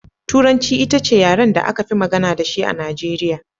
Turanci ita ce yaren da aka fi magana da shi a Najeriya.